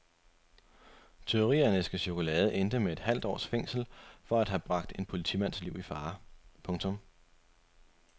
Tyveri af en æske chokolade endte med et halvt års fængsel for at have bragt en politimands liv i fare. punktum